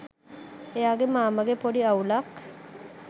එයාගෙ මාමගෙ පොඩි අවුලක්